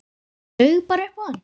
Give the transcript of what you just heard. Laug bara upp á hann.